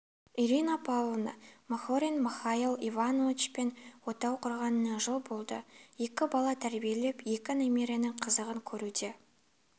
ирина павловна махорин михаил ивановичпен отау құрғанына жыл болды екі бала тәрбиелеп екі немерінің қызығын көруде